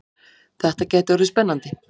Þetta gæti orðið spennandi!